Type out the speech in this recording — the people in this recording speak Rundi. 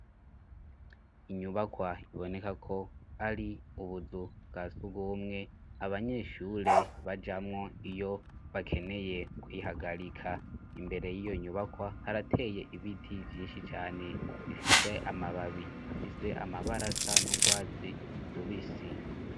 Inyubakwa iboneka ko ari ubuzu bwa sugumwe abanyeshure bajamwo iyo bakeneye kwihagarika imbere y'iyo nyubakwa harateye ibiti vyinshi cane bifise amababi afise amabarasa n'ubwatsi rubisi.